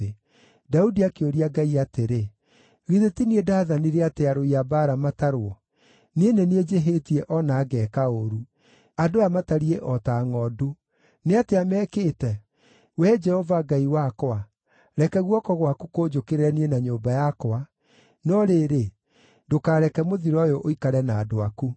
Daudi akĩũria Ngai atĩrĩ, “Githĩ ti niĩ ndaathanire atĩ arũi a mbaara matarwo? Niĩ nĩ niĩ njĩhĩtie o na ngeeka ũũru. Andũ aya matariĩ o ta ngʼondu. Nĩ atĩa mekĩte? Wee Jehova Ngai wakwa, reke guoko gwaku kũnjũkĩrĩre niĩ na nyũmba yakwa, no rĩrĩ, ndũkareke mũthiro ũyũ ũikare na andũ aku.”